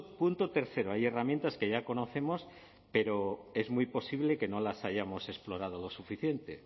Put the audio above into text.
punto tercero hay herramientas que ya conocemos pero es muy posible que no las hayamos explorado lo suficiente